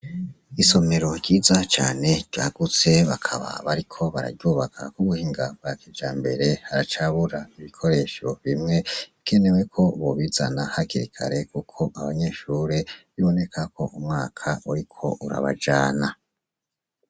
Isomero ryiza cane ryagutse bakaba bariko bararyubaka k'ubuhinga bwa kijambere haracabura ibikoresho bimwe bikenewe ko bobizana hakiri kare kuko abanyeshure biboneka ko umwaka uriko urabajana.